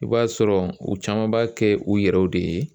I b'a sɔrɔ u caman b'a kɛ u yɛrɛw de ye